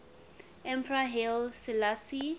emperor haile selassie